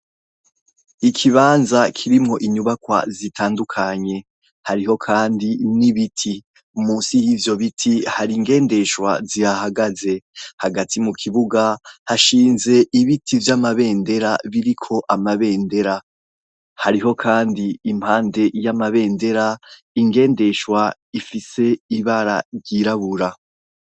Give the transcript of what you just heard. Ikibanza kirimwo inyubakwa zitandukanye hariho kandi n'ibiti, musi yivyo biti hari ingendeshwa zihahagaze, hagati mukibuga hashinze ibiti vy'amabendera biriko amabendera, hariho kandi impande y'amabendera ingendeshwa ifise ibara ryirabura.